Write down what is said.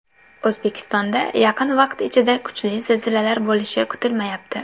O‘zbekistonda yaqin vaqt ichida kuchli zilzilalar bo‘lishi kutilmayapti.